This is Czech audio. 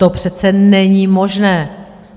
To přece není možné!